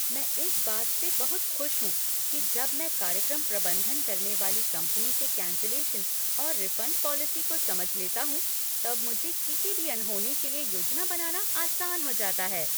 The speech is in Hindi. मैं इस बात से बहुत खुश हूँ कि जब मैं कार्यक्रम प्रबंधन करने वाली कंपनी के कैन्सलेशन और रिफ़ंड पॉलिसी को समझ लेता हूँ तब मुझे किसी भी अनहोनी के लिए योजना बनाना आसान हो जाता है।